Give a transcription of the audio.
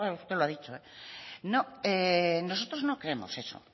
usted lo ha dicho eh nosotros no queremos eso